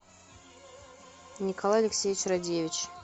николай алексеевич радевич